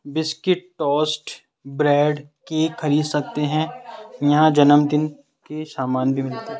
Biscuit toast bread cake खरीद सकते है यहां जन्मदिन के समान भी मिलते है।